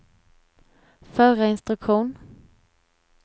förra instruktion